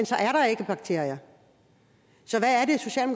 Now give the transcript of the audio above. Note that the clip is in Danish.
så er der ikke bakterier så